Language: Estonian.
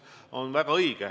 See on väga õige.